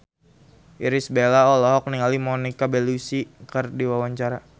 Irish Bella olohok ningali Monica Belluci keur diwawancara